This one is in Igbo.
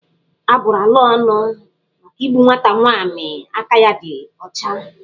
A bụrụ ala a ónù maka igbu nwata nwaanyi aka ya dị ya ọcha.